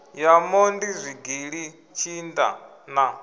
ya mondi zwigili tshinda na